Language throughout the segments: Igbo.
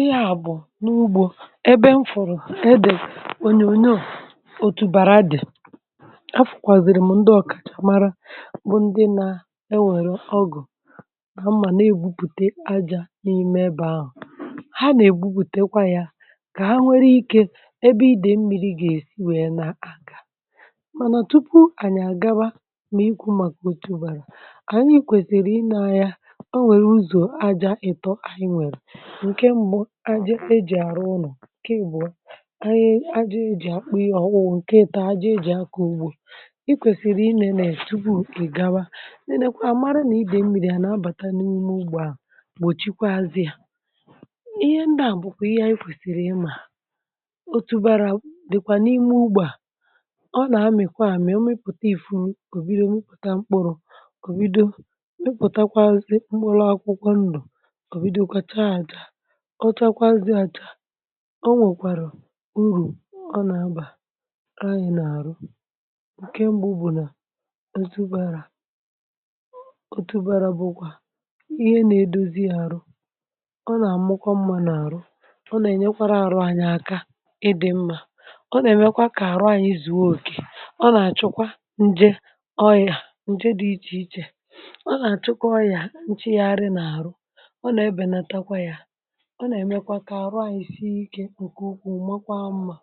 Ihe a bụ n'ugbo ebe m fụrụ ebe e dere onyonyo otubara dị. A fụkwazịm bụ ndị na ewerụ ọ́gụ̀ na mma na-egwuputa ájá n'ime ebe ahụ. Ha na-egwupụtakwa ya ka ha nwere ike ebe íde mmiri ga-esi wee na-aga. Mana tupu anyị agaba n'ikwu maka otubara, anyị kwesịrị ine anya o nweru ụzọ aja ị́tọ́ anyị nwere. Nke mbụ ájá e ji arụ ụnọ. Nke abụọ ájá e ji akpụ ihe ọkpụkpụ. Nke ị́tọ́ aja e ji akọ ugbo. I kwesịrị i nene tupu ị gawa. Nenekwaa mara ma ide mmiri a na-abata n'ime ugbo ahụ gbochikwaazị ya. Ihe ndị a bụkwa ihe anyị kwesịrị ị ma. Otubara dịkwa n'ime ugbo a. Ọ na-amị̀kwa amị. Ọ mịpụta ifuru o bido mi}pụtawa mkpụrụ o bido mipụtakwazị mkpụrụ akwụkwọ ndụ. O bidokwa chaa acha. Ọ chakwaazị acha, o nwekwarụ uru ọ na-aba anyị n'arụ. Nke mbụ bụ na otubara ọ otubara bụkwa ihe na-edozi arụ. Ọ na-amakwa mma n'arụ. Ọ na-enyekwarụ arụ anyị aka ị dị mma. Ọ na-emekwa ka arụ anyị zuo okè. Ọ nà-àchụkwa nje ọ́yà nje dị iche iche. Ọ na-achụkwa ọrịa nchịgharị n'arụ. Ọ na-ebenatakwa ya. Ọ na-emekwa ka arụ anyị si ike nke ukwuu makwaa mma.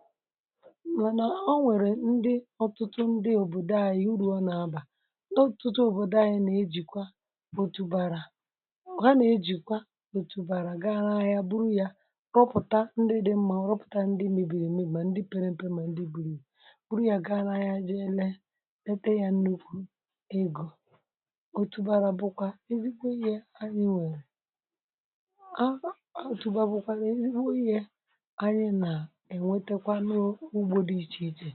Mana ọ nwere ndị ọtụtụ ndị obodo anyị uru ọ na-aba. Ndị ọtụtụ obodo anyị na-ejikwa otubara ha na-ejikwa otubara gaa n'ahịa buru ya rọpụta ndị mebiri emebi ma ndị pere mpe ma ndị buru ibu. Buru ya gaa n'ahịa jee lee lete ya nnukwu ego. Otubara bụkwa ezigbo ihe anyị nwere. otubara bụkwa ezigbo ihe anyị na-enwetekwa n'ugbo dị iche iche.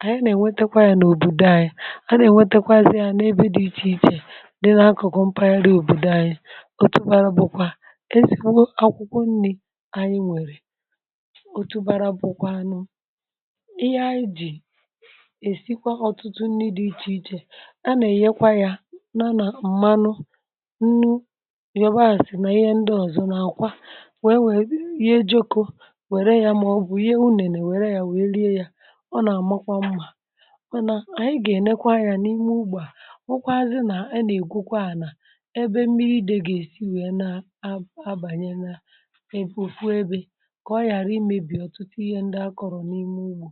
Anyị na-enweta ya n'obodo anyị. Anyị na-enwetakwazị ya n'ebw dị iche iche dị na mpaghara obodo anyị. Otubara bụkwa akwụkwọ nni anyị nwere. Otubara bụkwanụ ihe anyị ji esikwa ọtụtụ nni dị iche iche. A na-eyekwa ya na na mmanụ, nnu, yabasị na ihe ndị ọzọ na àkwá wee were yee jioko were ya maọbụ yee unene were ya wee rie ya. Ọ na-amakwa mma. Mana anyị ga-enekwa anya n'ime ugbo a hụkwazị na a na-egwukwa ana ebe mmiri ide ga-esi wee na ab a banye na ebe ofu ebe ka ọ ghara imebi ọtụtụ ihe ndị a kọrọ n'ime ugbo.